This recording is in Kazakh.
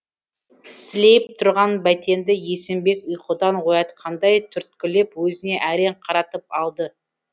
сілейіп тұрған бәйтенді есімбек ұйқыдан оятқандай түрткілеп өзіне әрең қаратып алды